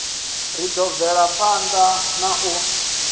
ri ḓo bvelaphanḓa na u